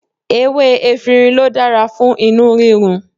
Ewé efinrin ló dára fún inú rírun.